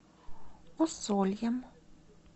усольем